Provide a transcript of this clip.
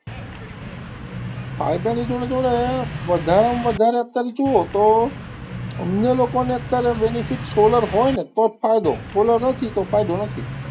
ફાયદાની જોડે જોડે વધારેમાં વધારે અત્યારે જોવો તો અમને લોકો ને અત્યારે benefit, solar હોય ને તો જ ફાયદો solar નથી તો ફાયદો નથી.